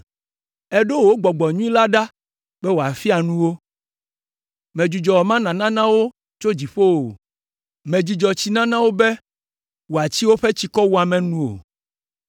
Èɖo wò Gbɔgbɔ nyui la ɖa be wòafia nu wo. Mèdzudzɔ mananana wo tso dziƒo o, mèdzudzɔ tsinana wo be wòatsi woƒe tsikɔwuame nu o.